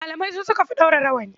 Malamai su suka fi ɗaura rawani.